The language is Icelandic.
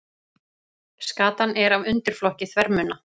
Skatan er af undirflokki þvermunna.